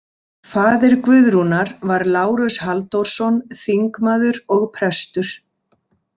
Faðir Guðrúnar var Lárus Halldórsson, þingmaður og prestur.